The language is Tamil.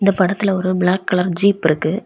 இந்த படத்துல ஒரு பிளாக் கலர் ஜீப் இருக்கு.